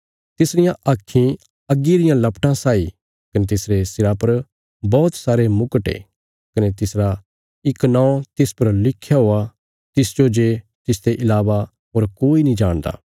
तिसरियां आक्खीं अग्गी रियां लपटां साई कने तिसरे सिरा पर बौहत सारे मुकुट ये कने तिसरा इक नौं तिस पर लिख्या हुया तिसजो जे तिसते इलावा होर कोई नीं जाणदा